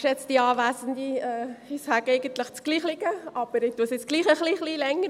Ich sage eigentlich das Gleiche, mache es aber trotzdem ein wenig länger.